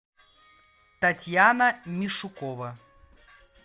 татьяна мишукова